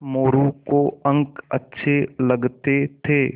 मोरू को अंक अच्छे लगते थे